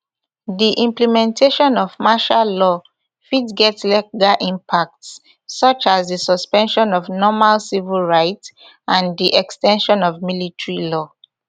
di implementation of martial law fit get legal impacts such as di suspension of normal civil rights and di ex ten sion of military law